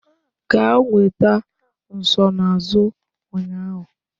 Gaa nweta nsonaazụ ụnyaahụ